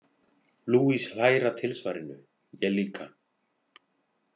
Luis hlær að tilsvarinu, ég líka.